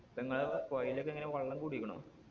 ഇപ്പൊ ഇങ്ങളെ പൊഴേലൊക്കെ എങ്ങനെ വള്ളം കൂടിക്കണോ